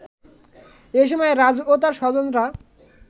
এ সময় রাজু ও তার স্বজনরা